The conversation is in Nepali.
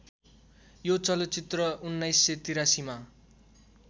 यो चलचित्र १९८३ मा